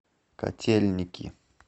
котельники